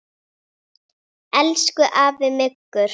Elsku afi Muggur.